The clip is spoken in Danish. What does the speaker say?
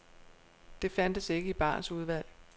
Det fandtes ikke i barens udvalg.